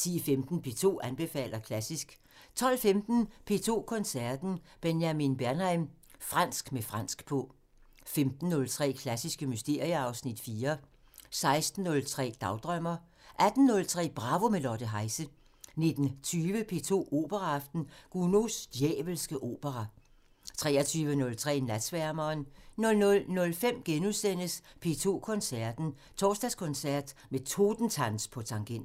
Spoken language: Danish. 10:15: P2 anbefaler klassisk 12:15: P2 Koncerten – Benjamin Bernheim – fransk med fransk på 15:03: Klassiske mysterier (Afs. 4) 16:03: Dagdrømmer 18:03: Bravo – med Lotte Heise 19:20: P2 Operaaften – Gounods djævelske opera 23:03: Natsværmeren 00:05: P2 Koncerten – Torsdagskoncert med Totentanz på tangenter *